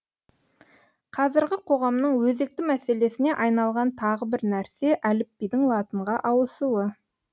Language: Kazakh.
қазіргі қоғамның өзекті мәселесіне айналған тағы бір нәрсе әліпбидің латынға ауысуы